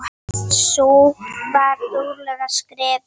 Sú var dugleg að skrifa.